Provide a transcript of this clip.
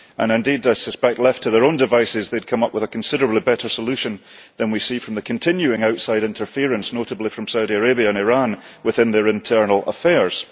Indeed I suspect that, left to their own devices, they would come up with a considerably better solution than we see from the continuing outside interference notably from Saudi Arabia and Iran within their internal affairs.